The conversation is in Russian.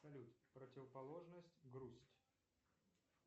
салют противоположность грусть